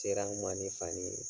Teriyaw ɲuman ani faamu ye.